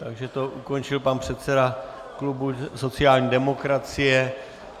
Takže to ukončil pan předseda klubu sociální demokracie.